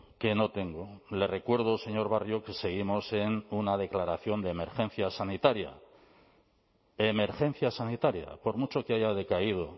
que no tengo le recuerdo señor barrio que seguimos en una declaración de emergencia sanitaria emergencia sanitaria por mucho que haya decaído